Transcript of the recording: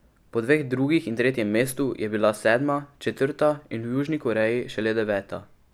Po dveh drugih in tretjem mestu je bila sedma, četrta in v Južni Koreji šele deveta.